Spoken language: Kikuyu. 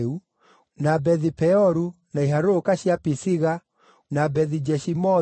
na Bethi-Peoru, na iharũrũka cia Pisiga, na Bethi-Jeshimothu,